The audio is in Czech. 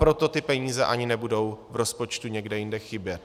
Proto ty peníze ani nebudou v rozpočtu někde jinde chybět.